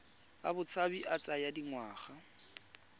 a botshabi a tsaya dingwaga